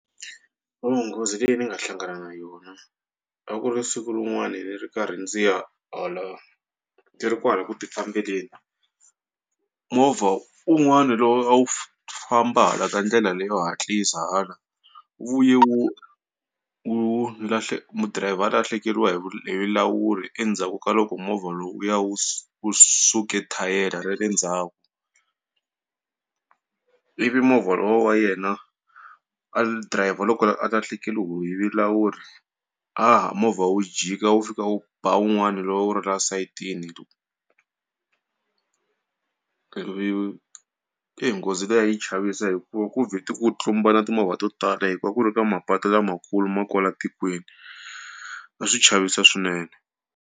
Nghozi leyi ni nga hlangana na yona a ku ri siku rin'wani ni ri karhi ndzi ya hala ndzi ri kwala ku tifambeleni movha un'wana lowu a wu famba hala ka ndlela leyo hatlisa hala wu vuye wu wu driver a lahlekeriwa hi hi vulawuri endzhaku ka loko movha lowuya wu wu suke thayere ra le ndzhaku. Ivi movha lowa wa yena driver loko a lahlekeriwe hi vulawuri movha wu jika wu fika wu ba wun'wana lowu a wu ri la sayitini ivi eyi nghozi leyi a yi chavisa hi ku ku vheti ku tlumbana timovha to tala hikuva a ku ri ka mapatu lamakulu ma kwala tikweni a swi chavisa swinene.